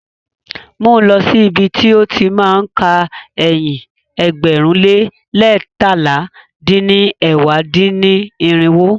Mú lọ̀ sí ibi ti ó ti má a ka ẹyin ẹgbẹ̀rún lé leétalá dín ní ẹ̀wá dín-ní-irinwó.